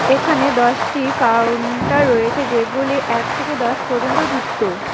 এখানে দশটি কাউন্টার রয়েছে যেগুলি এক থেকে দশ পর্যন্ত যুক্ত।